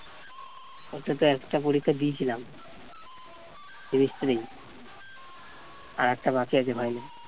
ওটাতে একটা পরীক্ষা দিয়েছিলাম semester ই আর একটা বাকি আছে ভাই।